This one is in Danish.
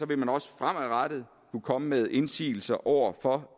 vil man også fremadrettet kunne komme med indsigelser over for